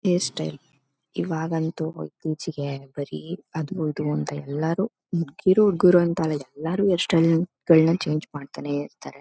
Hairstyle ಇವಾಗೊಂತು ಇತ್ತೀಚಿಗೆ ಬರೀ ಅದೊಂದು ಎಲ್ಲರೂ ಮುಧಿಕೀರು ಹುಡುಗರು ಅಂತ ಅಲ್ಲ ಎಲ್ಲರೂ ಹೈರ್ಸ್ಟೈಲ್ ಚೇಂಜ್ ಮಾಡ್ತಾ ಇರ್ತಾರೆ.